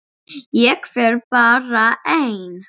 Ég fer bara ein.